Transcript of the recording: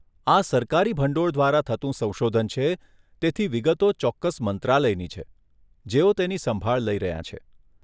આ સરકારી ભંડોળ દ્વારા થતું સંશોધન છે તેથી વિગતો ચોક્કસ મંત્રાલયની છે, જેઓ તેની સંભાળ લઈ રહ્યાં છે.